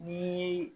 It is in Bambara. Ni